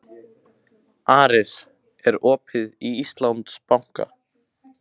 Aris, er opið í Íslandsbanka?